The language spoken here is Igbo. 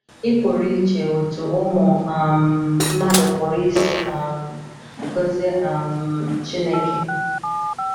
Ị pụrụ iche otú ụmụ um mmadụ pụrụ isi um gọzie um Chineke.